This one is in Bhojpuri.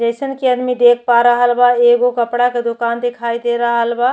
जइसन की आदमी देख पा रहल बा। एगो कपड़ा के दोकान दिखाई दे रहल बा।